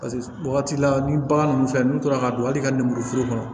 Paseke wagati la ni bagan dun fɛ n'u tora ka don hali ka lemuru foro kɔnɔ